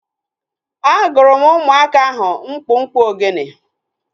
A gụrụ m ụmụaka ahu mkpụmkpụ ogene